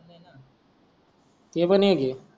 ते पण एक हे